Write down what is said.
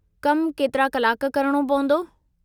कमु केतिरा कलाक करणो पवंदो?